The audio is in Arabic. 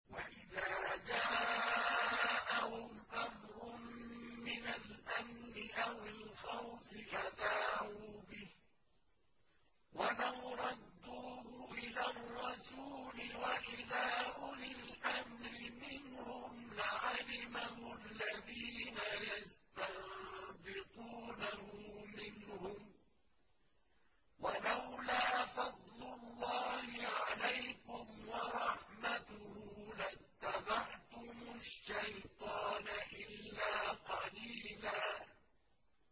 وَإِذَا جَاءَهُمْ أَمْرٌ مِّنَ الْأَمْنِ أَوِ الْخَوْفِ أَذَاعُوا بِهِ ۖ وَلَوْ رَدُّوهُ إِلَى الرَّسُولِ وَإِلَىٰ أُولِي الْأَمْرِ مِنْهُمْ لَعَلِمَهُ الَّذِينَ يَسْتَنبِطُونَهُ مِنْهُمْ ۗ وَلَوْلَا فَضْلُ اللَّهِ عَلَيْكُمْ وَرَحْمَتُهُ لَاتَّبَعْتُمُ الشَّيْطَانَ إِلَّا قَلِيلًا